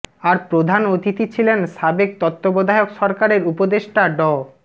আর প্রধান অতিথি ছিলেন সাবেক তত্ত্বাবধায়ক সরকারের উপদেষ্টা ড